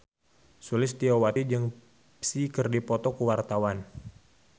Sulistyowati jeung Psy keur dipoto ku wartawan